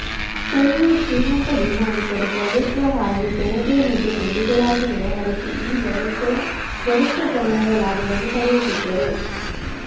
ಸ್ಥಳೀಯ ಶ್ರೀಮಂತ ಭೂಮಾಲೀಕರು ಪ್ರಭುತ್ವ ಹಾಗೂ ಜನತೆಯ ಮಧ್ಯೆ ಕೊಂಡಿಗಳಾಗಿ ವ್ಯವಹರಿಸಿ ಈ ವ್ಯವಸ್ಥೆಯ ಗರಿಷ್ಠ ಪ್ರಮಾಣದ ಲಾಭವನ್ನು ಪಡೆಯುತ್ತಿದ್ದರು